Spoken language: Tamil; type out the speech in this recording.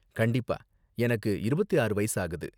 கண்டிப்பா, எனக்கு இருப்பத்து ஆறு வயசு ஆகுது.